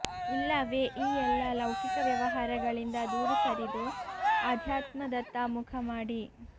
ಇಲ್ಲವೇ ಈ ಎಲ್ಲ ಲೌಕಿಕ ವ್ಯವಹಾರಗಳಿಂದ ದೂರ ಸರಿದು ಅಧ್ಯಾತ್ಮದತ್ತ ಮುಖ ಮಾಡಿ